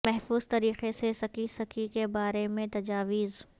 محفوظ طریقے سے سکی سکی کے بارے میں تجاویز